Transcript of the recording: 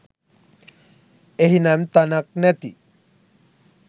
එහි නම් තැනක් නැති.